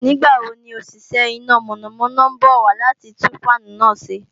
Nígbàwo ni òṣìṣẹ́ iná mọ̀nàmọ́ná ń bọ̀ wá láti tún fáànù náà ṣe